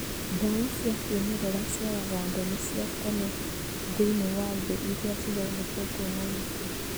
Ndawa cia kĩmerera cia ũganda nĩ cia tene thĩiniĩ wa thĩ iria cithondeketwo na mĩtĩ.